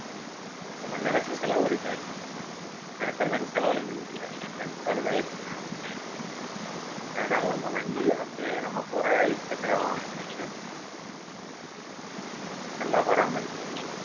நம்ம நினைச்சா செலவு இருக்காது நினைச்சமாதிரி செலவழிக்க முடியாது வண்டி பழுதாகிடிச்சுனா ஆஹ் நல்லம் இப்போ வண்டியை வந்து நம்ம போற இரு சக்கர வாகனம் வந்து நல்லா பாராமரிச்சு